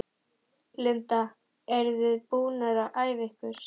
Linda: Eruð þið búnar að æfa ykkur?